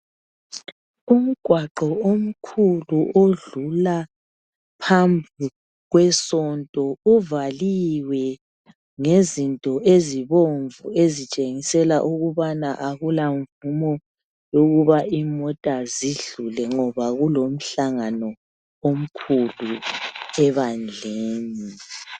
umgwaqo omkhulu odlula phambili kwesonto uvaliwe ngezinto ezibomv ezitshengisela ukuba akula mvumo yokuba kudlule imota ngoba kulomhlangano omkhulu ebandleni.